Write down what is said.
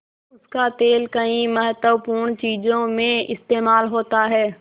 उसका तेल कई महत्वपूर्ण चीज़ों में इस्तेमाल होता है